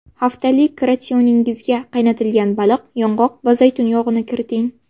Haftalik ratsioningizga qaynatilgan baliq, yong‘oq va zaytun yog‘ini kiriting.